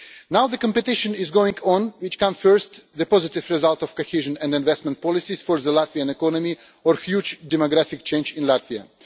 Now the competition is going on which comes first? The positive result of cohesion and investment policies for the Latvian economy or huge demographic change in Latvia.